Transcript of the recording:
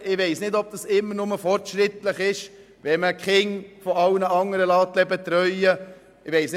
Ich weiss nicht, ob es immer nur fortschrittlich ist, Kinder von allen anderen betreuen zu lassen.